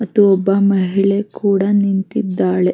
ಮತ್ತೆ ಒಬ್ಬ ಮಹಿಳೆ ಕೂಡ ನಿಂತಿದ್ದಾಳ್ಲ್ --